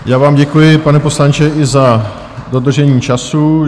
Já vám děkuji, pane poslanče, i za dodržení času.